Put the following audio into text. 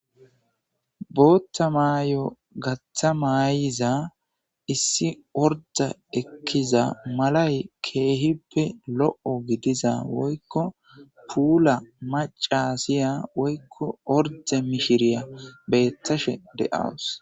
Bootta maay,o gatha maayiza issi orda ekkiza malay keehippe lo7o gidiza woykko puula macasiya woykko orde mishiriya beettashe de7awus